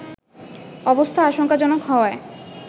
অবস্থা আশঙ্কাজনক হওয়ায়